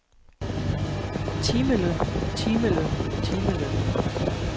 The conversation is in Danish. timelønnen timelønnen timelønnen